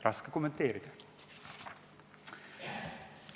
Raske kommenteerida.